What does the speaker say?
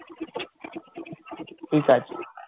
কাজ